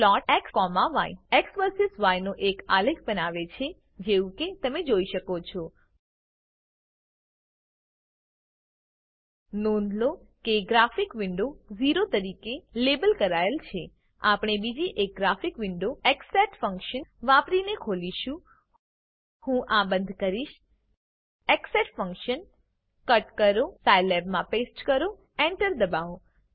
plot xય X versus Y નો એક આલેખ બનાવે છે જેવું કે તમે જોઈ શકો છો નોંધ લો કે ગ્રાફિક વિન્ડો 0 તરીકે લેબલ કરાયેલ છે આપણે બીજી એક ગ્રફિક વિન્ડો ઝેસેટ ફંક્શનવાપરીને ખોલીશું હું આ બંધ કરીશ xset ફંક્શન કટ કરો સાયલેબમાં પેસ્ટ કરો enter દબાવો